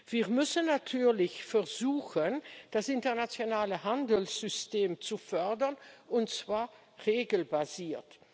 Wir müssen natürlich versuchen, das internationale Handelssystem zu fördern, und zwar regelbasiert.